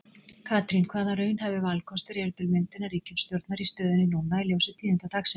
Katrín, hvaða raunhæfi valkostur eru til myndunar ríkisstjórnar í stöðunni núna í ljósi tíðinda dagsins?